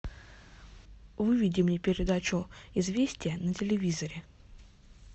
выведи мне передачу известия на телевизоре